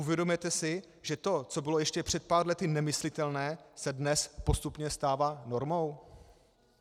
Uvědomujete si, že to, co bylo ještě před pár lety nemyslitelné, se dnes postupně stává normou?